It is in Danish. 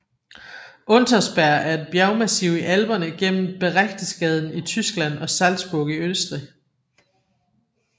Untersberg er et bjergmassiv i Alperne mellem Berchtesgaden i Tyskland og Salzburg i Østrig